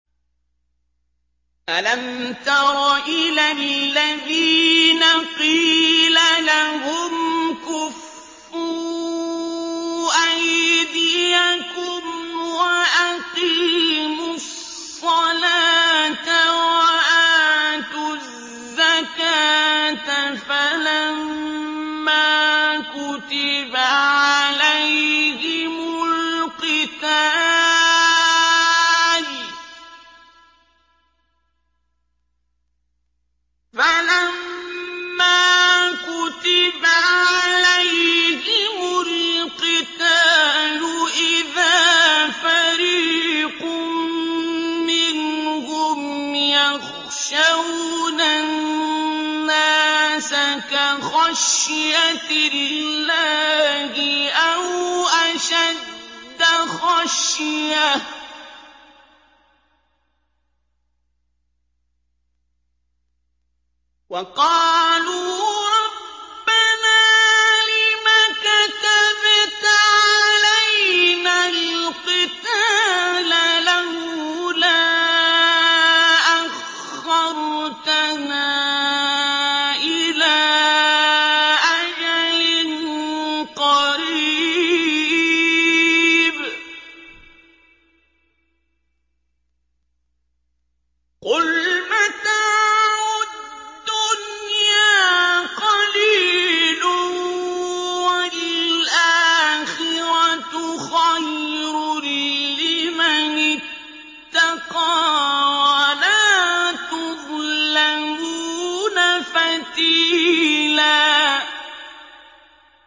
أَلَمْ تَرَ إِلَى الَّذِينَ قِيلَ لَهُمْ كُفُّوا أَيْدِيَكُمْ وَأَقِيمُوا الصَّلَاةَ وَآتُوا الزَّكَاةَ فَلَمَّا كُتِبَ عَلَيْهِمُ الْقِتَالُ إِذَا فَرِيقٌ مِّنْهُمْ يَخْشَوْنَ النَّاسَ كَخَشْيَةِ اللَّهِ أَوْ أَشَدَّ خَشْيَةً ۚ وَقَالُوا رَبَّنَا لِمَ كَتَبْتَ عَلَيْنَا الْقِتَالَ لَوْلَا أَخَّرْتَنَا إِلَىٰ أَجَلٍ قَرِيبٍ ۗ قُلْ مَتَاعُ الدُّنْيَا قَلِيلٌ وَالْآخِرَةُ خَيْرٌ لِّمَنِ اتَّقَىٰ وَلَا تُظْلَمُونَ فَتِيلًا